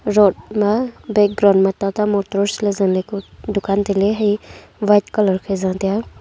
road ma background ma tata motors zah ku dukan tailey.